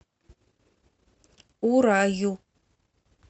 ураю